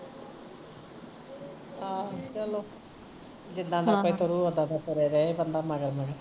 ਆਹੋ ਚਲੋ ਜਿੱਦਾ ਦਾ ਕੋਈ ਤੁਰੁ ਓਦਾ ਦਾ ਤੁਰੇ ਰਹੇ ਬੰਦਾ ਮਗਰ ਮਗਰ